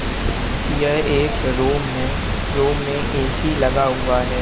ये एक रूम हैं रूम में ऐ_सी लगा हुआ हैं।